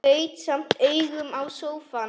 Gaut samt augum á sófann.